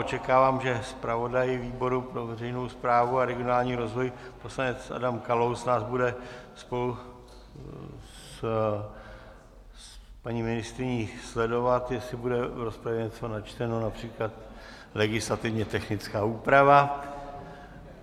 Očekávám, že zpravodaj výboru pro veřejnou správu a regionální rozvoj poslanec Adam Kalous nás bude spolu s paní ministryní sledovat, jestli bude v rozpravě něco načteno, například legislativně technická úprava.